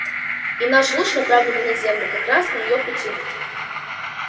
и наш луч направленный на землю как раз на её пути